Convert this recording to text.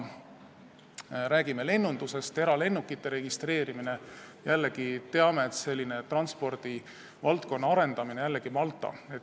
Kui me räägime lennundusest, eralennukite registreerimisest, siis jällegi teame, et selle transpordivaldkonna arendamine on oluline Maltal.